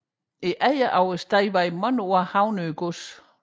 Ejeren af stedet var i mange år Havnø gods